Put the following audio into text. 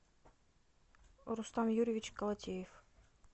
рустам юрьевич колотеев